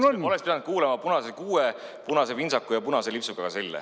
Oleks pidanud kuulama punase kuue, punase pintsaku ja punase lipsuga selle.